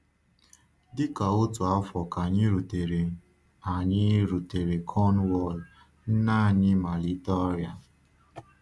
Dị ka otu afọ ka anyị rutere anyị rutere Cornwall, nne anyị malitere ọrịa.